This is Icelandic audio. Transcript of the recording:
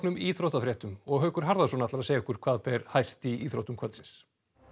íþróttafréttum Haukur Harðarson ætlar að segja okkur hvað ber hæst í íþróttum kvöldsins